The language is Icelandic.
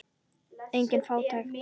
Engin fátækt.